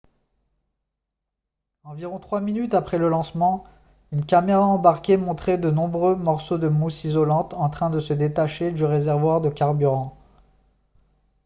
environ trois minutes après le lancement une caméra embarquée montrait de nombreux morceaux de mousse isolante en train de se détacher du réservoir de carburant